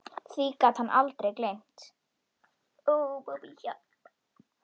Því gat hann aldrei gleymt.